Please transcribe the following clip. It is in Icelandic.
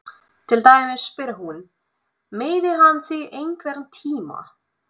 Til dæmis spyr hún: Meiddi hann þig einhvern tíma?